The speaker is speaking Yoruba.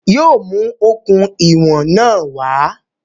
Yóò mú okùn ìwọ̀n náà wá